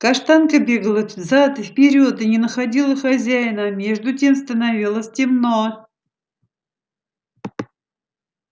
каштанка бегала взад и вперёд и не находила хозяина а между тем становилось темно